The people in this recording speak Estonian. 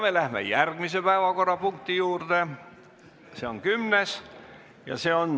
Me läheme järgmise päevakorrapunkti juurde, see on kümnes.